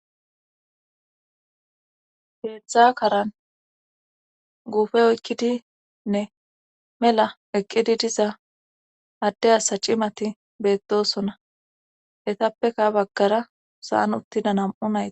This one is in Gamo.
heetztdza karan guufe oykkidinne mela eqqidi diza adde asa cimati beettosona hetappeka baggara saan uttida nam7u nayti